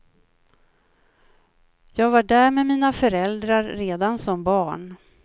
Jag var där med mina föräldrar redan som barn.